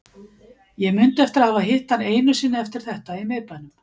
Ég mundi eftir að hafa hitt hann einu sinni eftir þetta í miðbænum.